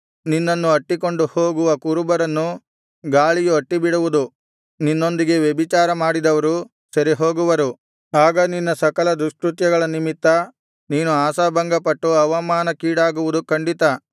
ನಿನ್ನನ್ನು ಅಟ್ಟಿಕೊಂಡು ಹೋಗುವ ಕುರುಬರನ್ನು ಗಾಳಿಯು ಅಟ್ಟಿಬಿಡುವುದು ನಿನ್ನೊಂದಿಗೆ ವ್ಯಭಿಚಾರ ಮಾಡಿದವರು ಸೆರೆಹೋಗುವರು ಆಗ ನಿನ್ನ ಸಕಲ ದುಷ್ಕೃತ್ಯಗಳ ನಿಮಿತ್ತ ನೀನು ಆಶಾಭಂಗಪಟ್ಟು ಅವಮಾನಕ್ಕೀಡಾಗುವುದು ಖಂಡಿತ